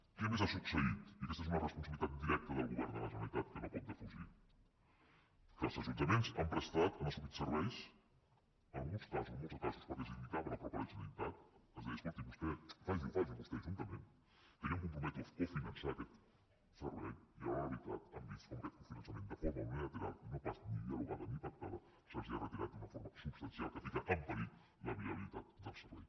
què més ha succeït i aquesta és una responsabilitat directa del govern de la generalitat que no pot defugir que els ajuntaments han prestat han assumit serveis en alguns casos en molts casos perquè els ho indicava la mateixa generalitat que els deia escolti vostè faciho faci ho vostè ajuntament que jo em comprometo a cofinançar aquest servei i a l’hora de la veritat han vist com aquest finançament de forma unilateral i no pas ni dialogada ni pactada se’ls ha retirat d’una forma substancial que posa en perill la viabilitat del servei